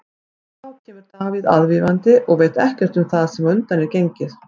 Þá kemur Davíð aðvífandi og veit ekkert um það sem á undan er gengið.